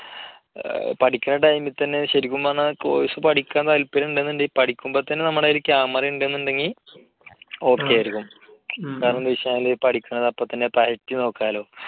പഠിക്കണ time ൽ തന്നെ ശരിക്കും പറഞ്ഞാൽ course പഠിക്കാൻ താല്പര്യം ഉണ്ട് എന്നുണ്ടെങ്കിൽ പഠിക്കുമ്പോൾ തന്നെ നമ്മുടെ കയ്യിൽ camera ഉണ്ട് എന്നുണ്ടെങ്കിൽ okay ആയിരിക്കും. കാരണം എന്താണെന്ന് വെച്ചാൽ പഠിക്കുന്നത് അപ്പോൾത്തന്നെ പയറ്റി നോക്കാല്ലോ.